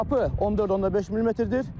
Çapı 14.5 millimetrdir.